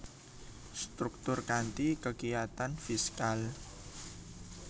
Struktur kanthi kekiyatan fiskal